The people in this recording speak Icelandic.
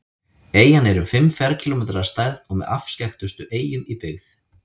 Eyjan er um fimm ferkílómetrar að stærð og með afskekktustu eyjum í byggð.